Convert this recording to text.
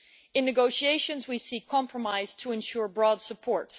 In negotiations we seek compromise to ensure broad support.